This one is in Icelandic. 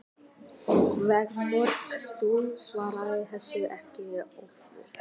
Kvenrödd: Þú svarar þessu ekki Ólafur!